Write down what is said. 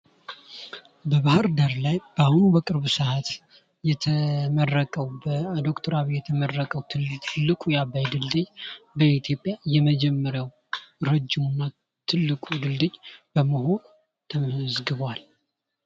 በባህርዳር ላይ በአሁኑ በቅርብ ሰዓት የተመረቀዉ በዶ/ር ዓብይ የተመረቀዉ ትልቁ ድልድይ በኢትዮጵያ የመጀመሪያዉ ትልቁ ድልድይ በመሆን ተመዝግቧል።